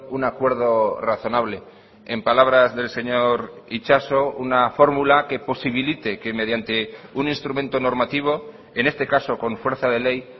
un acuerdo razonable en palabras del señor itxaso una fórmula que posibilite que mediante un instrumento normativo en este caso con fuerza de ley